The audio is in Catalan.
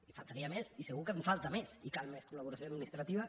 i faltaria més i segur que en falta més i cal més col·laboració administrativa